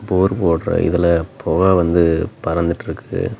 போர் போடுற இதுல புகை வந்து பறந்துட்டுருக்குது.